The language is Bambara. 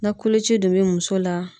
Na koloci dun be muso la